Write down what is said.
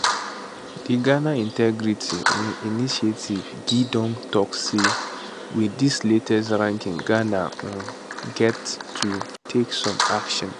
di ghana integrity um initiative gii don tok say wit dis latest ranking ghana um gat to take some action